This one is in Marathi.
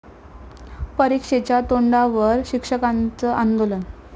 परीक्षेच्या तोंडावर शिक्षकांचं आंदोलन